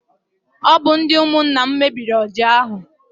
Ọ bụ ndị ụmụnna m mebiri ọja ahụ.